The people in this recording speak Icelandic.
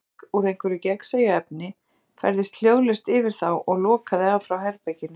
Hvolfþak, úr einhverju gagnsæju efni, færðist hljóðlaust yfir þá og lokaði af frá herberginu.